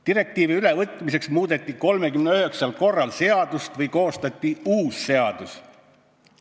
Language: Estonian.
Direktiivi ülevõtmiseks muudeti 39 korral seadust või koostati uus seadus.